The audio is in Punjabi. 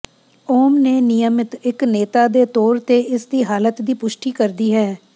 ਉਸ ਨੇ ਨਿਯਮਿਤ ਇੱਕ ਨੇਤਾ ਦੇ ਤੌਰ ਤੇ ਇਸ ਦੀ ਹਾਲਤ ਦੀ ਪੁਸ਼ਟੀ ਕਰਦੀ ਹੈ